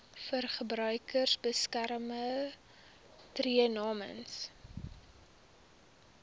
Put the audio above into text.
verbruikersbeskermer tree namens